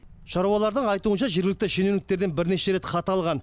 шаруалардың айтуынша жергілікті шенеуніктерден бірнеше рет хат алған